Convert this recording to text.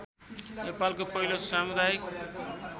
नेपालको पहिलो सामुदायिक